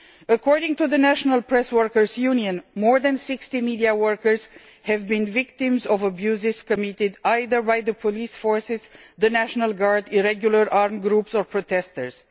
According to the National Press Workers' Union, more than 60 media workers have been the victims of abuse committed either by the police forces, the national guard, or ad hoc armed groups of protesters.